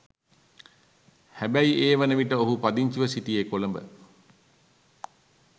හැබැයිඒ වනවිට ඔහු පදිංචිව සිටියේ කොළඹ